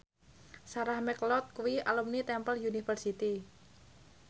Sarah McLeod kuwi alumni Temple University